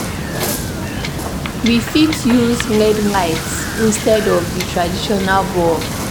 We fit use led lights instead of di traditional bulb